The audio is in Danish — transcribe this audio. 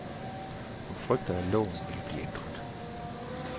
Hun frygter, at loven vil bliver ændret.